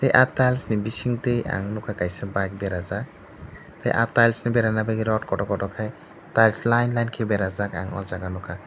ah tiles ni bisi tai ang nugkha kaisa bike berajak tai ah tiles ni bera bagui rod kotor kotor kai tiles line line ke berajak ang aw jaaga nugkha.